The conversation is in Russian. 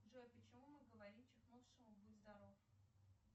джой почему мы говорим чихнувшему будь здоров